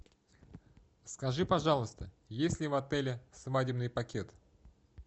скажи пожалуйста есть ли в отеле свадебный пакет